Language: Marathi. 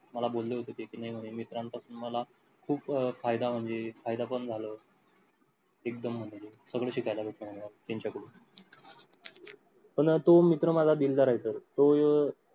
मला बोले होते ते की नाही म्हणे मित्रांपासून मला खूप फायदा म्हणजे फायदा पण झाल. एक्दम म्हणजे सगळं शिकायला भेटलं म्हणला तीन चार महिने. पण तो मीत्र मला दिलदार आहे तो